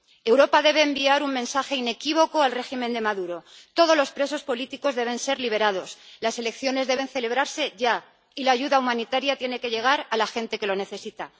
Europa debe enviar un mensaje inequívoco al régimen de Maduro todos los presos políticos deben ser liberados, las elecciones deben celebrarse ya y la ayuda humanitaria tiene que llegar a la gente que lo necesita.